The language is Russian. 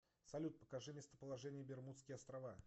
салют покажи местоположение бермудские острова